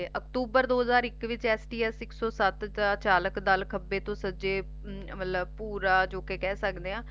ਤੇ ਅਕਤੂਬਰ ਦੋ ਹਜਾਰ ਇਕ ਵਿੱਚ ਐਸ ਡੀ ਐਸ ਇਕ ਸੋ ਸਤ ਚ ਚਾਲਕ ਦਲ ਖੱਬੇ ਤੋ ਸਜੇ ਮਤਲਬ ਪੂਰਾ ਜੌ ਕਹਿ ਸਕਦੇ ਆ